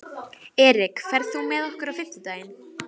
Ég þarf að eiga við þig orð, vinur.